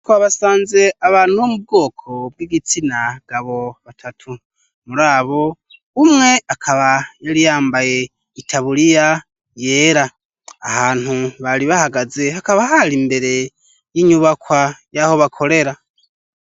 Aho abasanze abantu bo mu bwoko bw'igitsina gabo batatu muri abo umwe akaba yari yambaye itabuliya yera ahantu bari bahagaze hakaba hari imbere y'inyubakwa y'aho bakorera.